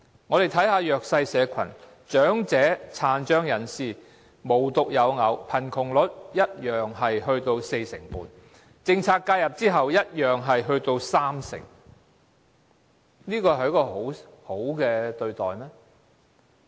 我們看看弱勢社群，長者和殘障人士無獨有偶，貧窮率一樣達至四成半，政策介入後仍達三成，這是好的對待嗎？